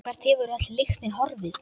Hvert hefur öll lyktin horfið?